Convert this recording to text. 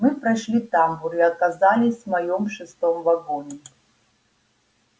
мы прошли тамбур и оказались в моём шестом вагоне